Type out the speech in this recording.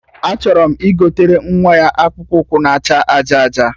Achọrọ m igotere nwa ya akpụkpụ ụkwụ na acha aja aja